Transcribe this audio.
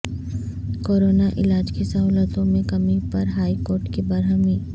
corona علاج کی سہولتوں میں کمی پر ہائی کورٹ کی برہمی